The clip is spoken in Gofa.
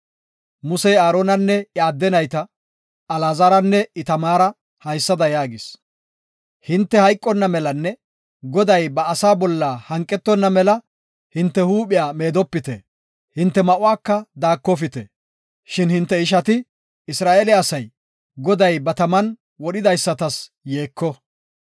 Musey Aaronanne iya adde nayta, Alaazaranne Itamaara haysada yaagis; “Hinte hayqonna melanne Goday ba asaa bolla hanqetonna mela hinte huuphiya meedopite; hinte ma7uwaka daakofite. Shin hinte ishati, Isra7eele asay, Goday ba taman wodhidaysatas yeeko.